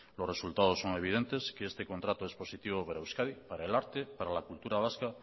los resultados son evidentes que este contrato es positivo para euskadi para el arte para la cultura vasca